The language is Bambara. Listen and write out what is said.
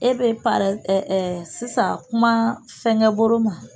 E be parɛ ɛ ɛ sisan kuma fɛngɛ boro ma